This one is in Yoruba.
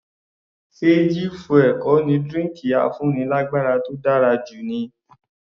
Ṣe G fuel kò ní drinki afúnilágbára tó dára jù ni?